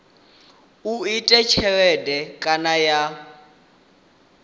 u ita tshelede kana ya